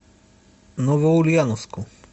новоульяновску